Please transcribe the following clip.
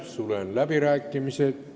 Sulen läbirääkimised.